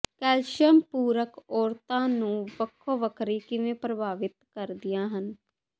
calcium ਪੂਰਕ ਔਰਤਾਂ ਨੂੰ ਵੱਖੋ ਵੱਖਰੀ ਕਿਵੇਂ ਪ੍ਰਭਾਵਿਤ ਕਰਦੀਆਂ ਹਨ